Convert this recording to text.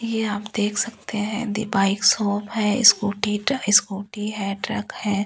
ये आप देख सकते है बाइक शॉप है स्कूटी है स्कूटी है ट्रक है ।